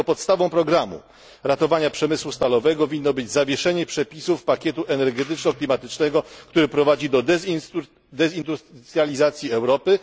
Dlatego podstawą programu ratowania przemysłu stalowego winno być zawieszenie przepisów pakietu energetyczno klimatycznego, który prowadzi do dezindustralizacji Europy.